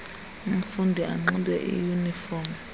umfundi anxibe iyunifom